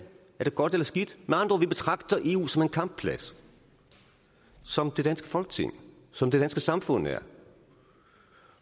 er det godt eller skidt med andre ord vi betragter eu som en kampplads som det danske folketing som det danske samfund er